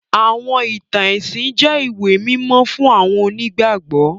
Àwọn ìtàn ẹ̀sìn jẹ ìwé mímó fun àwọn onígbàgbọ́.